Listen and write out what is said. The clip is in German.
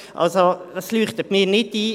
Also, das leuchtet mir nicht ein!